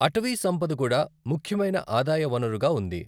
అటవీ సంపద కూడా ముఖ్యమైన ఆదాయ వనరుగా ఉంది.